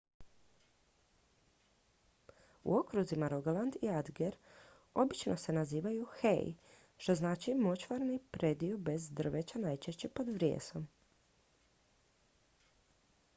"u okruzima rogaland i agder obično se nazivaju "hei" što znači močvarni predio bez drveća najčešće pod vrijesom.